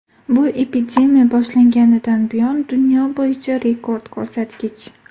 Bu epidemiya boshlanganidan buyon dunyo bo‘yicha rekord ko‘rsatkich.